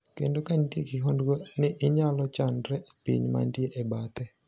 Kendo ka nitie kihondko ni onyalo landre e piny mantie e bathe